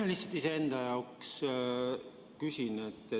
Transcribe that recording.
Ma lihtsalt iseenda jaoks küsin.